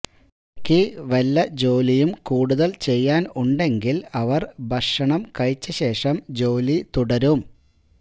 ഇടയ്ക്ക് വല്ല ജോലിയും കൂടുതല് ചെയ്യാന് ഉണ്ടെങ്കില് അവര് ഭക്ഷണം കഴിച്ച ശേഷം ജോലി തുടരും